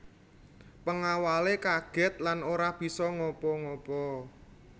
Pengawale kaget lan ora bisa ngapa ngapa